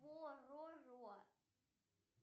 пороро